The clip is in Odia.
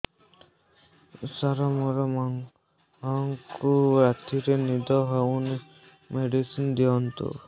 ସାର ମୋର ମାଆଙ୍କୁ ରାତିରେ ନିଦ ହଉନି ମେଡିସିନ ଦିଅନ୍ତୁ